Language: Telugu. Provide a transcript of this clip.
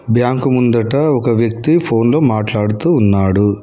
బ్యాంకు ముందట ఒక వ్యక్తి ఫోన్లో మాట్లాడుతూ ఉన్నాడు.